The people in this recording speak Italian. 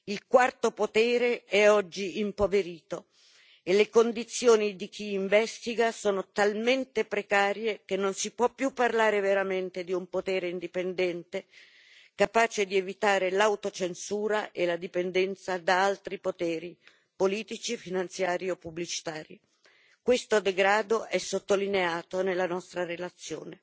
Il quarto potere è oggi impoverito e le condizioni di chi investiga sono talmente precarie che non si può più parlare veramente di un potere indipendente, capace di evitare l'autocensura e la dipendenza da altri poteri politici, finanziari o pubblicitari. Questo degrado è sottolineato nella nostra relazione.